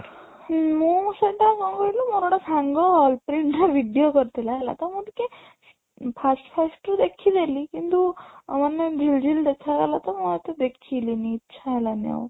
ହୁଁ ମୁଁ ସେଇଟା କ'ଣ କହିଲୁ ମୋର ଗୋଟେ ସାଙ୍ଗ video କରିଥିଲା ହେଲା ତ ମୁଁ ଟିକେ first first ରୁ ଦେଖି ଦେଲି କିନ୍ତୁ ମାନେ ଝୀଲ ଝୀଲ ଦେଖା ଗଲା ତ ମୁଁ ଆଉ ଏତେ ଦେଖିଲିନି ଇଚ୍ଛା ହେଲାନି ଆଉ